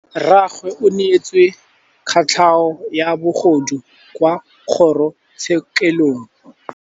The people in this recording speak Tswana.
Rragwe o neetswe kotlhaô ya bogodu kwa kgoro tshêkêlông.